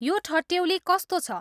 यो ठट्येउली कस्तो छ